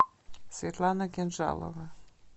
светлана кинжалова